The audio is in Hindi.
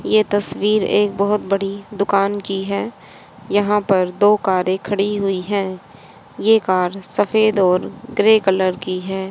यह तस्वीर एक बहुत बड़ी दुकान की है। यहां पर दो कार खड़ी हुई है यह कर सफेद और ग्रे कलर की है।